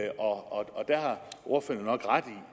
og der har ordføreren nok ret